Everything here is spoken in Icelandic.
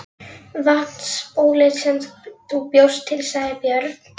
Vatnsbólið sem þú bjóst til, sagði Björn.